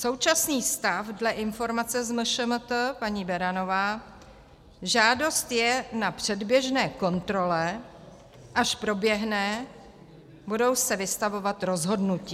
Současný stav dle informace z MŠMT - paní Beranová, žádost je na předběžné kontrole, až proběhne, budou se vystavovat rozhodnutí.